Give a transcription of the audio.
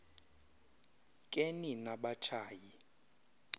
ke nina batshayi